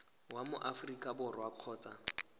wa mo aforika borwa kgotsa